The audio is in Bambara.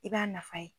I b'a nafa ye